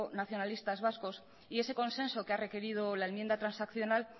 nacionalistas vascos y ese consenso que ha requerido la enmienda transaccional